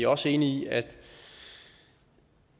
også enige i at